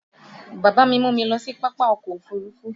Bàbá mi mú mi lọ sí pápá ọkọ̀ òfuurufú